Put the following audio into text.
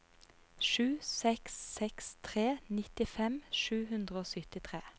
sju seks seks tre nittifem sju hundre og syttitre